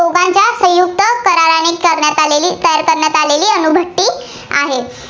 कार्यन्वित करण्यात आलेली, तयार करण्यात आलेली अणुभट्टी आहे.